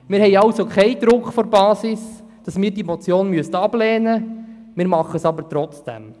Wir haben also keinen Druck von der Basis, dass wir diese Motion ablehnen müssten, wir tun es aber trotzdem.